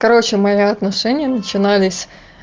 короче мои отношения начинались